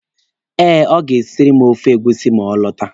Eh, ọ ga-esiri m ofe egusi ma ọ lọta.